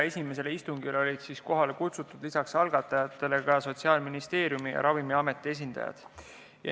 Esimesele istungile oli kohale kutsutud lisaks algatajatele ka Sotsiaalministeeriumi ja Ravimiameti esindajad.